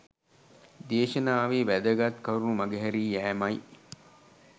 දේශනාවේ වැදගත් කරුණු මඟ හැරී යෑම යි.